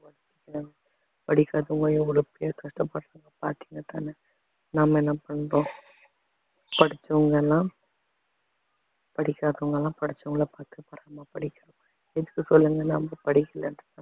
படிக்காதவங்க எவ்வளோ பேர் கஷ்டப்படுறவங்க பாத்தீங்கதான்ன நாம என்ன பண்றோம் படிச்சவங்க எல்லாம் படிக்காதவங்க எல்லாம் படிச்சவங்களை பார்த்து பொறாமை எதுக்கு சொல்லுங்க நம்ம படிக்கலைன்ற